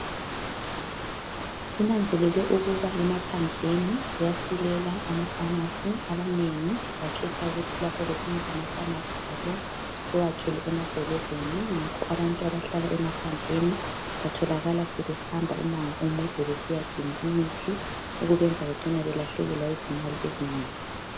Kunanzelelwe ukuba emaphandleni kuyasilela amafamasi abanengi bakhetha ukuthi lapha besenza amafamasi abo bawakhele emadolobheni ngakho abantu abahlala emaphandleni batholakala behamba imango emide besiyadinga imithi okubenza bacine belahlekelwa yizimali ezinengi.